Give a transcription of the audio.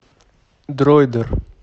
дроидер